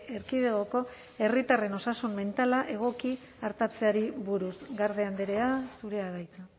erkidegoko herritarren osasun mentala egoki artatzeari buruz garde andrea zurea da hitza